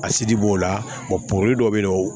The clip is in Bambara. A sidi b'o la porobilɛ dɔ be yen nɔ